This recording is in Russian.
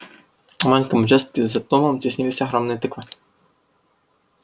на маленьком участке за домом теснились огромные тыквы